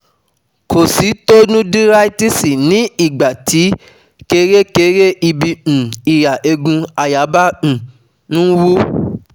kositonudíráítíìsì ni ìgbà tí kèrékèré ibi um ìhà eegun àyà bá um ń um wú